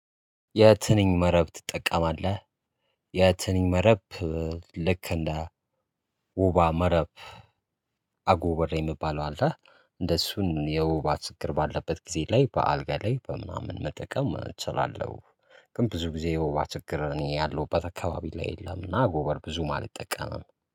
የትንኝ መረብ ትጠቀማለህ? የትኝ መረብ ልክ እንደ ወባ መረብ አጎበር የሚባለው አለ እነሱን የወባ ችግር ባለበት ጊዜ ላይ በአልጋ ላይ በምናምን መጠቀም እችላለሁ። ግን ብዙ ጊዜ የወባ ችግር እኔ ያለሁበት አካባቢ ላይ የለምና አጎበር ብዙም አልጠቀምም